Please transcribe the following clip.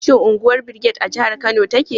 Shin unguwar Brigade a jihar Kano take?